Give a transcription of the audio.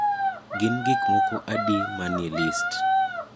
gin gik moko adi manie list